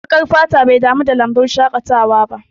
Baƙar fata bai dami da lambun shaƙatawa ba